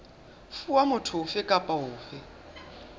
fuwa motho ofe kapa ofe